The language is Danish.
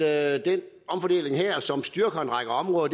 at den omfordeling her som styrker en række områder